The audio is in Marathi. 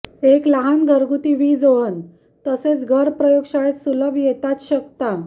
एक लहान घरगुती वीज ओव्हन तसेच घर प्रयोगशाळेत सुलभ येतात शकता